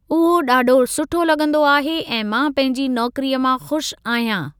उहो ॾाढो सुठो लॻंदो आहे ऐ मां पंहिंजी नौकिरीअ मां खु़शि आहियां।